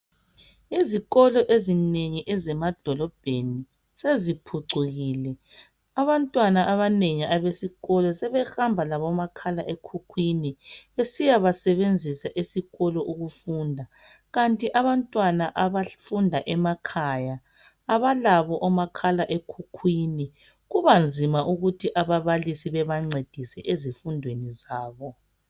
Izikolo ezinengi ezemadolobheni seziphucukile abantwana abanengi abesikolo sebehamba labo makhala ekhukhwini besiyaba sebenzisa esikolo ukufunda, kanti abantwana abafunda emakhaya abalabo omakhala ekhukhwini kubanzima ukuthi ababalisi bebancedise ezifundweni zabo.